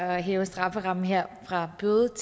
at hæve strafferammen her fra bøde